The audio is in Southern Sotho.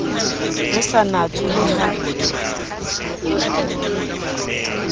ho sa natswe le ha